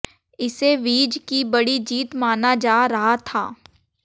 इसे विज की बड़ी जीत माना जा रहा था